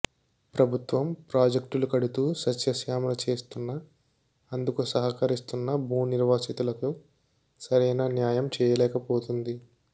ప్రభుత్వం ప్రాజెక్టులు కడుతూ సస్యశామల చేస్తున్నా అందుకు సహకరిస్తున్న భూ నిర్వాసితులకు సరైన న్యాయం చేయలేకపోతుంది